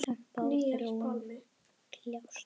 Kempa og Þróun kljást.